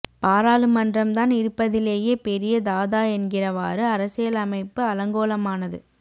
பாராளுமன்றம் தான் இருப்பதிலேயே பெரிய தாதா என்கிறவாறு அரசியலமைப்பு அலங்கோலமானது